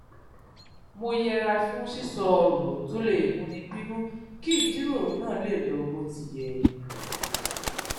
mo yẹra fún sísọ òrò tó lè múni bínú kí ìjíròrò náà lè lọ bó ti yẹ